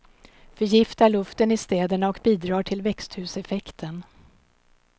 Förgiftar luften i städerna och bidrar till växthuseffekten.